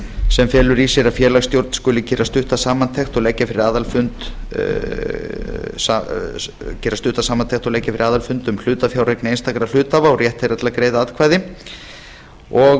sem felur í sér að félagsstjórn skuli gera stutta samantekt og leggja fyrir aðalfund um hlutafjáreign einstakra hluthafa og rétt þeirra til að greiða atkvæði og